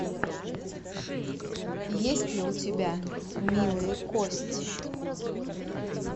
есть ли у тебя милые кости